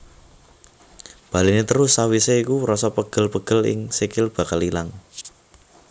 Baléni terus sawisé iku rasa pegel pegel ing sikil bakal ilang